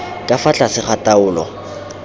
ka fa tlase ga taolo